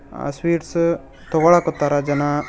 ಆ ಸ್ವೀಟ್ಸ್ ತೊಗಳಕತ್ತಾರ ಜನಾ.